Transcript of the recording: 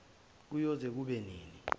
kuyoze kube nini